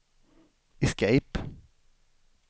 escape